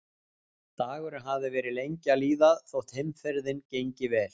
Dagurinn hafði verið lengi að líða þótt heimferðin gengi vel.